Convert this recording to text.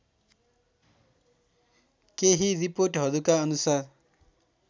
केही रिपोर्टहरूका अनुसार